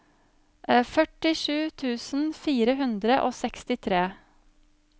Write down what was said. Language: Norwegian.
førtisju tusen fire hundre og sekstitre